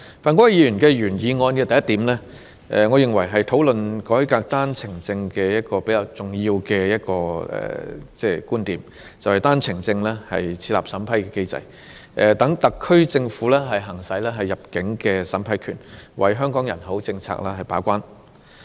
范國威議員原議案的第一點，我認為是討論改革單程證制度的一個比較重要觀點，當中建議就單程證設立審批機制，讓特區政府行使入境審批權，為香港人口政策把關。